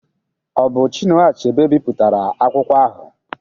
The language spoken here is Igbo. Ọ bụ Chinua Achebe bipụtara akwụkwọ ahụ?